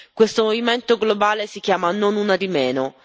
Questo movimento globale si chiama Non una di meno.